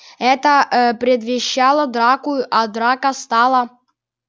это ээ предвещало драку а драка стала